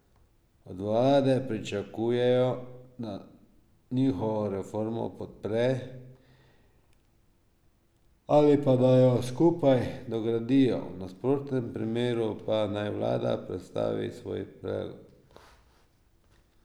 Od vlade pričakujejo, da njihovo reformo podpre ali pa da jo skupaj dogradijo, v nasprotnem primeru pa naj vlada predstavi svoj predlog.